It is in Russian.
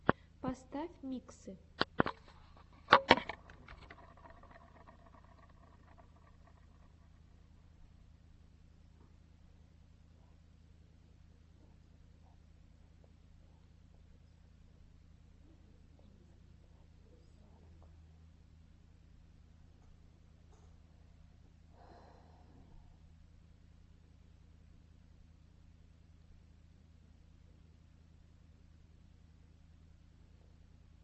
поставь миксы